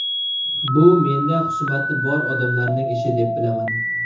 Bu menda xusumati bor odamlarning ishi, deb bilaman.